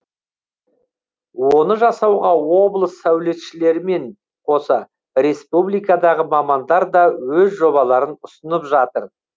оны жасауға облыс саулетшілерімен қоса республикадағы мамандар да өз жобаларын ұсынып жатыр